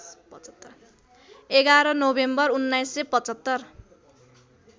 ११ November १९७५